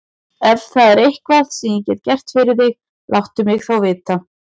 Ef það er eitthvað, sem ég get gert fyrir þig, láttu mig þá vita.